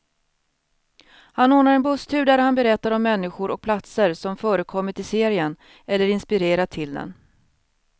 Han ordnar en busstur där han berättar om människor och platser som förekommit i serien, eller inspirerat till den.